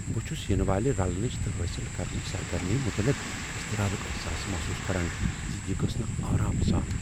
بہٕ چھس ینہٕ والِہ رلنٕچ تہٕ حٲصل کرنٕچ سرگرمی مٖتعلق اضطرابک احساس محسوس کران ز یہ گژھہٕ نہٕ آرام سان۔